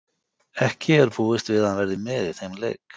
Ekki er búist við að hann verði með í þeim leik.